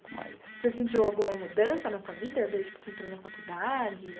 Um pouco, mas... Você sentiu alguma mudança na sua vida desde que você entrou na faculdade?